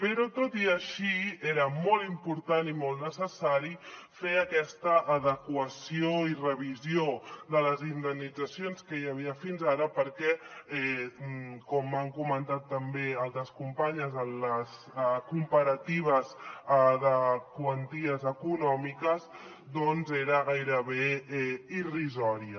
però tot i així era molt important i molt necessari fer aquesta adequació i revisió de les indemnitzacions que hi havia fins ara perquè com han comentat també altres companyes en les comparatives de quanties econòmiques doncs eren gairebé irrisòries